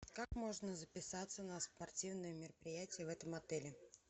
как можно записаться на спортивные мероприятия в этом отеле